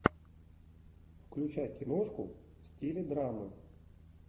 включай киношку в стиле драмы